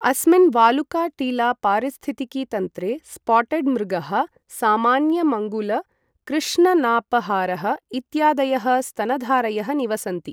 अस्मिन् वालुका टीला पारिस्थितिकीतन्त्रे स्पॉट्ड् मृगः, सामान्य मङ्गुल्, कृष्ण नाप हारः इत्यादयः स्तनधारयः निवसन्ति ।